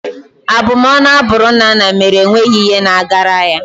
Abumọnu a bụrụ Nnanna mere enweghị ihe na-agara ya.